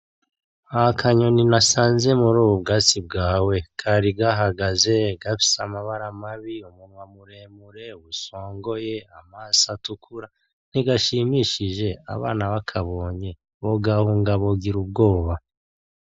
Hari akanyoni nasanze murubu bwatsi bwawe kari gahagaze gafise amabara mabi, umunwa muremure usongoye, amaso atukura, ntigashimishije abana bakabonye bogahunga bogira ubwoba.